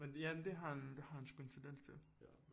Men ja det har han det har han sgu en tendens til